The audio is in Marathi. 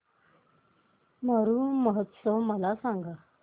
मरु महोत्सव मला सांग